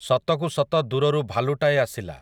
ସତକୁ ସତ ଦୂରରୁ ଭାଲୁଟାଏ ଆସିଲା ।